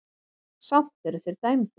Samt eru þeir dæmdir.